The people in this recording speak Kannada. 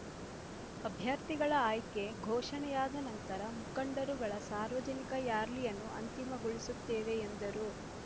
ಅಭ್ಯರ್ಥಿಗಳ ಆಯ್ಕೆ ಘೋಷಣೆಯಾದ ನಂತರ ಮುಖಂಡರುಗಳ ಸಾರ್ವಜನಿಕ ರ್‍ಯಾಲಿಯನ್ನು ಅಂತಿಮಗೊಳಿಸುತ್ತೇವೆ ಎಂದರು